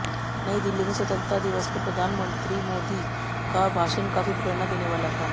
नई दिल्ली में स्वतंत्रता दिवस पर प्रधानमंत्री मोदी का भाषण काफी प्रेरणा देने वाला था